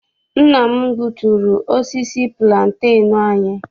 Nna m gbuturu osisi pulantenu anyị.